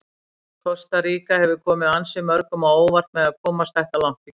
Kosta Ríka hefur komið ansi mörgum á óvart með að komast þetta langt í keppninni.